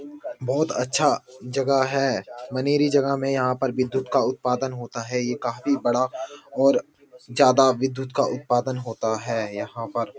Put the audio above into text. बहोत अच्छा जगह है। मनेरी जगह में यहाँ पर विद्धुत का उत्पादन होता है ये काफी बड़ा और ज्यादा विद्धुत का उत्पादन होता है यहाँ पर।